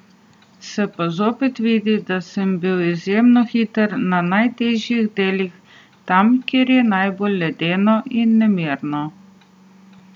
Se pa zopet vidi, da sem bil izjemno hiter na najtežjih delih, tam kjer je najbolj ledeno in nemirno.